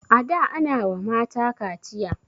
a da Ana wa mata kaciya